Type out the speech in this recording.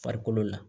Farikolo la